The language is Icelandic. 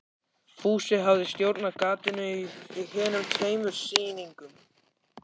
Fúsi hafði stjórnað gatinu á hinum tveimur sýningunum.